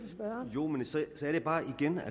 jo men så er det bare igen at